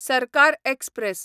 सरकार एक्सप्रॅस